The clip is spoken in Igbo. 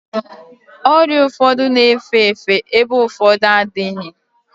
Ọrịa ụfọdụ na-efe efe ebe ụfọdụ adịghị